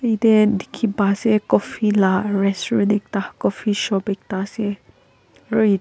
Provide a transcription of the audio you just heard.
Eteh dekhe pa ase coffee lah restaurant ekta coffee shop ekta ase.